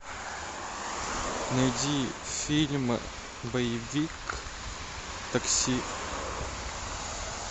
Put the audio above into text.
найди фильм боевик такси